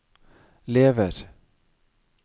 lever